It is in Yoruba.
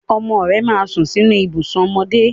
Ọmọ rẹ máa sùn sínú ibùsùn ọmọdé.